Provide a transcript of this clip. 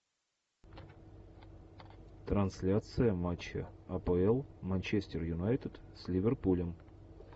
трансляция матча апл манчестер юнайтед с ливерпулем